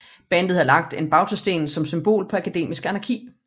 Bandet havde lagt en bautasten som symbol på akademisk anarki